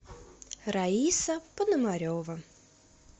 раиса пономарева